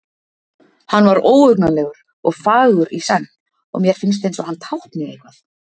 Hann var óhugnanlegur og fagur í senn og mér finnst eins og hann tákni eitthvað.